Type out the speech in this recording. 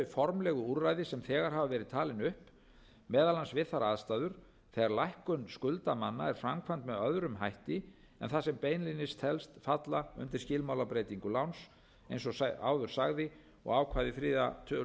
formlegu úrræði sem þegar hafa verið talin upp meðal annars við þær aðstæður þegar lækkun skulda manna er framkvæmd með öðrum hætti en það sem beinlínis telst falla undir skilmálabreytingu láns eins og áður sagði og ákvæði þriðja tölulið tuttugasta og áttundu